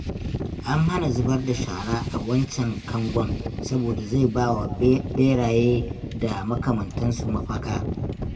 An hana zubar da shara a wancan kangon saboda zai ba wa ɓeraye da makamantansu mafaka